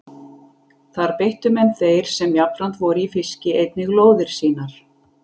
Þar beittu menn þeir sem jafnframt voru í fiski einnig lóðir sínar.